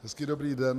Hezký dobrý den.